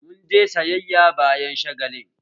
Mun je sayayya bayan shagalin